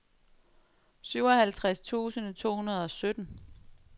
syvoghalvtreds tusind to hundrede og sytten